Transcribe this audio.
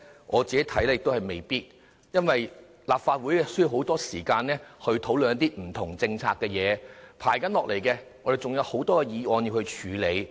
我看未必，因為立法會需要很多時間討論不同政策，接下來還有很多議案有待處理。